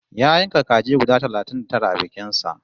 Ya yanka kaji guda talatin da tara a bikin sa